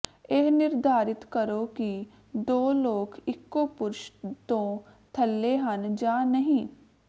ਇਹ ਨਿਰਧਾਰਤ ਕਰੋ ਕਿ ਦੋ ਲੋਕ ਇੱਕੋ ਪੁਰਸ਼ ਤੋਂ ਥੱਲੇ ਹਨ ਜਾਂ ਨਹੀਂ